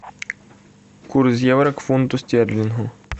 курс евро у фунту стерлингов